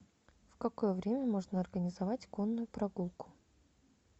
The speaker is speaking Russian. в какое время можно организовать конную прогулку